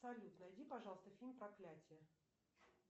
салют найди пожалуйста фильм проклятие